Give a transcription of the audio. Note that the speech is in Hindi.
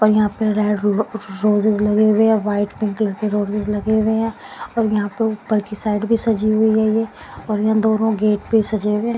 और यहां पर रेड रो रोजेस लगे हुए हैं व्हाइट पिंक कलर के रोजेस लगे हुए हैं और यहां पे ऊपर की साइड भी सजी हुए है ये यहां दोनों गेट भी सजे हुए।